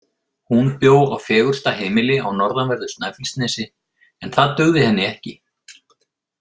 Hún bjó á fegursta heimili á norðanverðu Snæfellsnesi en það dugði henni ekki.